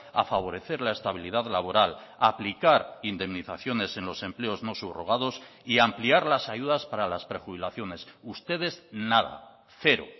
a favorecer la estabilidad laboral aplicar indemnizaciones en los empleos no subrogados y ampliar las ayudas para las prejubilaciones ustedes nada cero